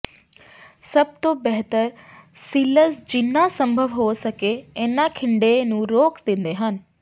ਸਭ ਤੋਂ ਬਿਹਤਰ ਸੀਲਲਜ਼ ਜਿੰਨਾ ਸੰਭਵ ਹੋ ਸਕੇ ਇਨ੍ਹਾਂ ਖਿੰਡੇ ਨੂੰ ਰੋਕ ਦਿੰਦੇ ਹਨ